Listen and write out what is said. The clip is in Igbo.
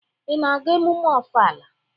Ị na-aga emume Ọfala?